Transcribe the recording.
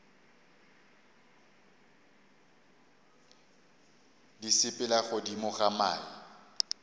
di sepela godimo ga mae